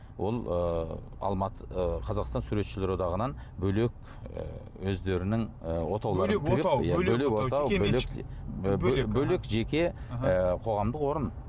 ол ы ы қазақстан суретшілер одағынан бөлек ы өздерінің ы отау бөлек жеке ы қоғамдық орын